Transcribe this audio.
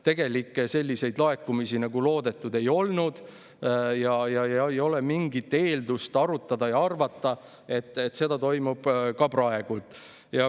Tegelikult selliseid laekumisi, nagu loodetud, ei olnud, ja ei ole ka mingit eeldust arvata, et see toimub praegu.